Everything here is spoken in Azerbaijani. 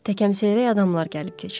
Təkəm-seyrək adamlar gəlib keçir.